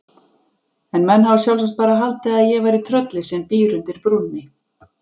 En menn hafa sjálfsagt bara haldið að ég væri tröllið sem býr undir brúnni.